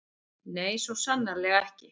Nei, svo sannarlega ekki.